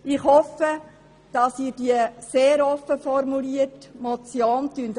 Ich hoffe, dass Sie diese sehr offen formulierte Motion annehmen.